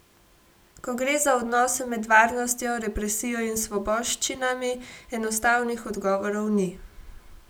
Ko gre za odnose med varnostjo, represijo in svoboščinami, enostavnih odgovorov ni.